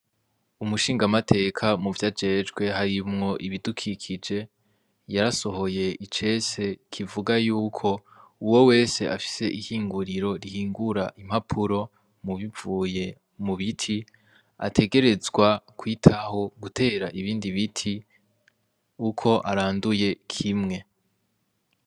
Umushingamateka muvyajejwe harimwo ibidukikije, yarasohoye icese kibuga yuko :<< Uwo wese afise ihinguriro rihingura impapuro bivuye mu biti ategerezwa kwitaho gutera ibindi biti uko aranduye kimwe>>.